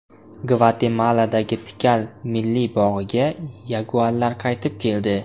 Gvatemaladagi Tikal milliy bog‘iga yaguarlar qaytib keldi.